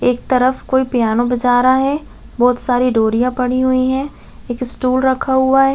एक तरफ कोई पीयानो बजा रहा है बहुत सारी डोरिया पड़ी हुई है एक स्टूल रखा हुआ हैं ।